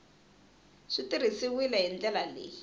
swi tirhisiwile hi ndlela leyi